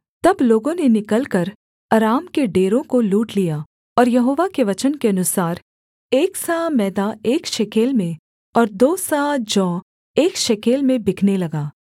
तब लोगों ने निकलकर अराम के डेरों को लूट लिया और यहोवा के वचन के अनुसार एक सआ मैदा एक शेकेल में और दो सआ जौ एक शेकेल में बिकने लगा